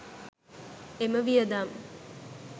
එම වියදම්